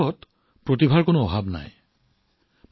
আমাৰ দেশত প্ৰতিভাৰ অভাৱ নাই